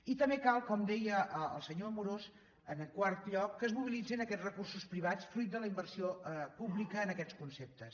i també cal com deia el senyor amorós en quart lloc que es mobilitzin aquests recursos privats fruit de la inversió pública en aquests conceptes